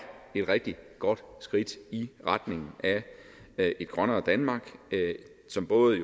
et rigtig godt skridt i retning af et grønnere danmark som både